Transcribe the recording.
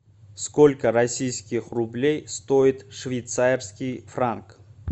сколько российских рублей стоит швейцарский франк